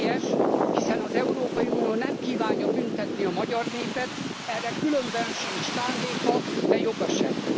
Ez helyes, hiszen az Európai Unió nem kívánja büntetni a magyar népet, erre különben sincs sem szándéka, de joga sem.